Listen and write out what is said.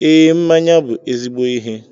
Ee, mmanya bụ ezigbo ihe